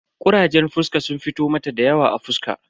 Kurajen fuska sun fito mata dayawa a fuska.